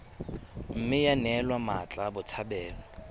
mme ya neelwa mmatla botshabelo